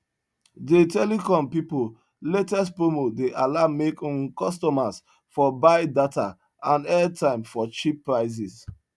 dey telecom pipu latest promo dey allow make um customers for buy data and airtime for cheap prices